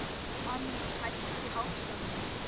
Allý, hækkaðu í hátalaranum.